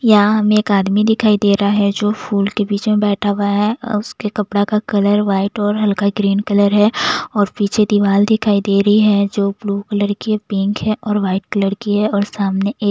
यहाँ हमे एक आदमी दिखाई दे रहा है जो फूल के बीच में बैठा हुआ है। अ उसके कपड़ा का कलर व्हाइट और हल्का ग्रीन कलर है और पीछे दीवार दिखाई दे रही है जो ब्लू कलर की पिंक है और व्हाइट कलर की है और सामने एक --